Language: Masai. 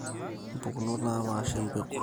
Impukunot naapaasha empeku